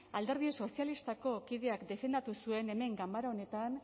alderdi sozialistako kideak defendatu zuen hemen ganbera honetan